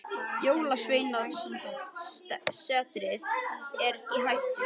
Jólasveinasetrið er í hættu.